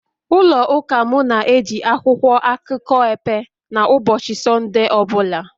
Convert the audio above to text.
ụlọ Ụka m na-eji akwụkwọ akụkọ epe na ụbọchị Sọnde ọ bụla